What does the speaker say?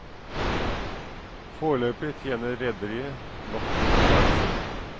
Foreløpig tjener rederiet nok til å klare seg.